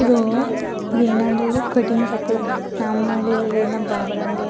ಇದು ಇದು ಏನಂದ್ರೆ ಇದು ಕಟಿಂಗ್ ಶಾಪ್ ನಮ್ಮ ಹಳ್ಳಿಲಿ ಇದ್ನ ಬಾಬರ್ ಅಂಗಡಿ --